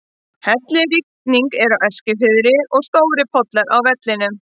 Hellirigning er á Eskifirði og stórir pollar eru á vellinum.